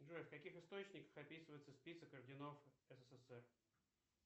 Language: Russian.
джой в каких источниках описывается список орденов ссср